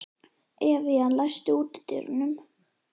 Evían, læstu útidyrunum.